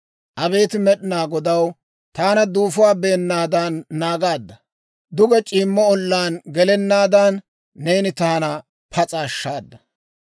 Abeet Med'inaa Godaw, taana duufuwaa beennaadan naagaadda; Duge c'iimmo ollaan gelennaadan, neeni taana pas'a ashshaada.